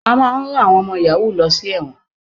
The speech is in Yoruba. A máa rán àwọn ọmọ yàhú lọ sí ẹ̀wọ̀n.